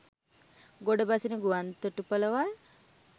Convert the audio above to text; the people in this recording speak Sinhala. ගොඩබසින ගුවන් තොටුපළවල්